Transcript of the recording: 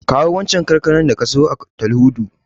Kawo waccen kankanar da ka siyo a Tal'udu.